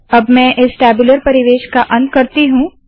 अब मैं इस टैब्यूलर परिवेश का अंत करती हूँ